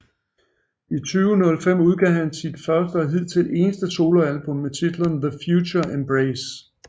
I 2005 udgav han sit første og hidtil eneste soloalbum med titlen TheFutureEmbrace